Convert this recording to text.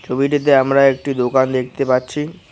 ছবিটিতে আমরা একটি দোকান দেখতে পাচ্ছি।